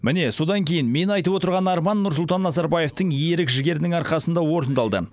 міне содан кейін мен айтып отырған арман нұрсұлтан назарбаевтың ерік жігерінің арқасында орындалды